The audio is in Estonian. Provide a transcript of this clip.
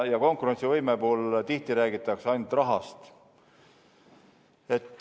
Ja konkurentsivõime puhul tihti räägitakse ainult rahast.